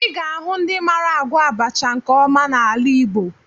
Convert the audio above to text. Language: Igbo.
Ị ga-ahụ ndị mara agwọ abacha nke ọma n'ala Igbo